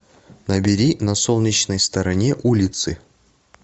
набери на солнечной стороне улицы